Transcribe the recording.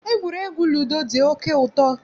Egwuregwu ludo dị oké ụtọ.